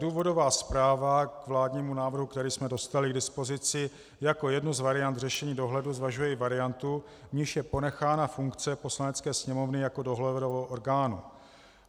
Důvodová zpráva k vládnímu návrhu, který jsme dostali k dispozici, jako jednu z variant řešení dohledu zvažuje i variantu, v níž je ponechána funkce Poslanecké sněmovny jako dohledového orgánu.